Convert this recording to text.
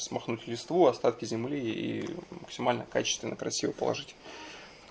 смохнуть листву остатки земли и максимально качественно красиво положить